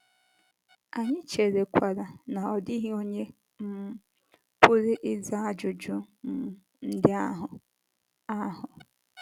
Anyị cherekwara na ọ dịghị onye um pụrụ ịza ajụjụ um ndị ahụ. ahụ.